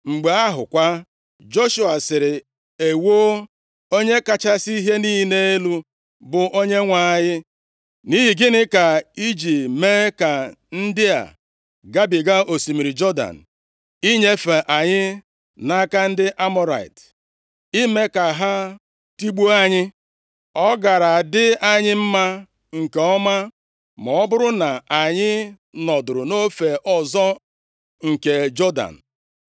Mgbe ahụ kwa, Joshua sịrị, “Ewoo, Onye kachasị ihe niile elu, bụ Onyenwe anyị! Nʼihi gịnị ka i ji mee ka ndị a gabiga osimiri Jọdan, inyefe anyị nʼaka ndị Amọrait, ime ka ha tigbuo anyị? Ọ gaara adị anyị mma nke ọma ma ọ bụrụ na anyị nọdụrụ nʼofe ọzọ nke Jọdan.